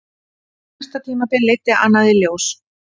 Næsta tímabil leiddi annað í ljós.